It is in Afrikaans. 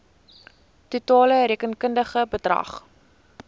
totale rekenkundige bedrag